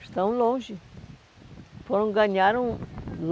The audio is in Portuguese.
Estão longe. Foram, ganharam